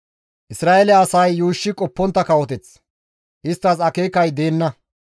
Isra7eele asay yuushshi qoppontta kawoteth; isttas akeekay deenna.